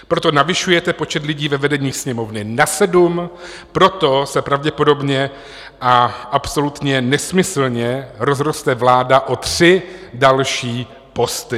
Proto navyšujete počet lidí ve vedení Sněmovny na sedm, proto se pravděpodobně a absolutně nesmyslně rozroste vláda o tři další posty.